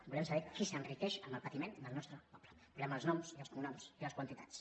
volem saber qui s’enriqueix amb el patiment del nostre poble en volem els noms i els cognoms i les quantitats